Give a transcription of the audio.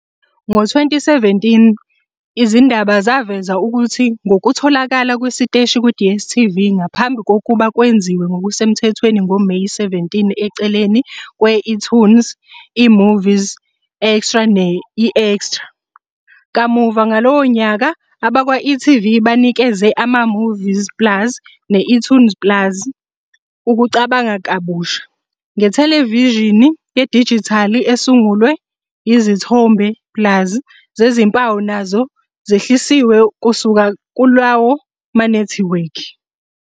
Ngo-2017, izindaba zaveza ukuthi ngokutholakala kwesiteshi ku- DStv ngaphambi kokuba kwenziwe ngokusemthethweni ngoMeyi 17 eceleni kwe-eToonz, eMovies Extra ne-eExtra. Kamuva ngalowo nyaka, abakwa-e.tv banikeze ama-eMovies plus ne-eToonz plus ukucabanga kabusha, ngethelevishini yedijithali esunguliwe, izithombe "plus" zezimpawu nazo zehlisiwe kusuka kulawo manethiwekhi.